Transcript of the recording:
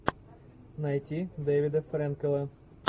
найти дэвида френкела